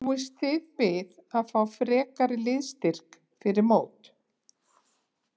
Búist þið við að fá frekari liðsstyrk fyrir mót?